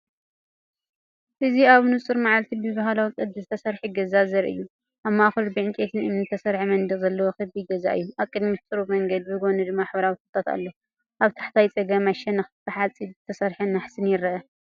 እዚ ኣብ ንጹር መዓልቲ ብባህላዊ ቅዲ ዝተሰርሐ ገዛ ዘርኢ እዩ። ኣብ ማእከሉ ብዕንጨይትን እምንን ዝተሰርሐ መንደቕ ዘለዎ ክቢ ገዛ እዩ። ኣብ ቅድሚት ጽሩብ መንገዲ፡ብጎኒ ድማ ሕብራዊ ተክልታት ኣሎ። ኣብ ታሕተዋይ ጸጋማይ ሸነኽ ብሓጺን ዝተሰርሐ ናሕስን ይርአ።